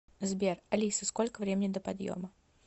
сбер алиса сколько времени до подъема